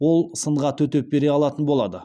ол сынға төтеп бере алатын болады